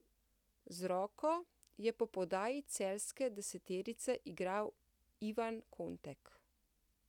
Z roko je po podaji celjske desetice igral Ivan Kontek.